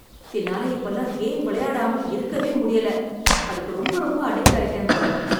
என்னால இப்பல்லாம் கேம் விளையாடாமல் இருக்கவே முடியல. அதுக்கு ரொம்ப ரொம்ப அடிக்ட் ஆயிட்டேன் போல